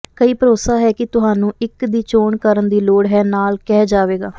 ਕਈ ਭਰੋਸਾ ਹੈ ਕਿ ਤੁਹਾਨੂੰ ਇੱਕ ਦੀ ਚੋਣ ਕਰਨ ਦੀ ਲੋੜ ਹੈ ਨਾਲ ਕਹਿ ਜਾਵੇਗਾ